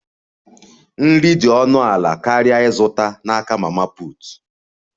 Nri dị ọnụ ala karịa ịzụta n'aka mama put